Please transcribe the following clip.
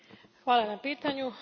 Hvala na pitanju.